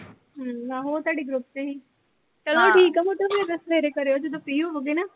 ਹਮ ਉਹ ਤੁਹਾਡੇ group ਚ ਸੀਗੀ। ਚਲੋ ਠੀਕ ਆ ਫਿਰ ਸਵੇਰੇ ਕਰਿਓ, ਜਦੋਂ free ਹੋਗੇ ਨਾ।